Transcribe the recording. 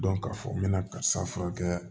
k'a fɔ n bɛna karisa furakɛ